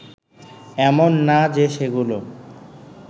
এমন না যে সেগুলো